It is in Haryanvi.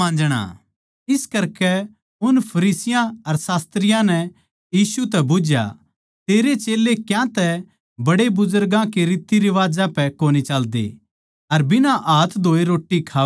इस करकै उन फरीसियाँ अर शास्त्रियाँ नै यीशु तै बुझ्झया तेरै चेल्लें क्यांतै बड्डे बुजुर्गां के रितरिवाजां पै कोनी चाल्दे अर बिना हाथ धोए रोट्टी खावै सै